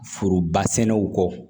Foroba sɛnɛw kɔ